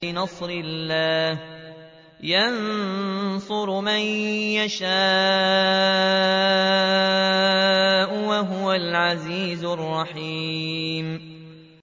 بِنَصْرِ اللَّهِ ۚ يَنصُرُ مَن يَشَاءُ ۖ وَهُوَ الْعَزِيزُ الرَّحِيمُ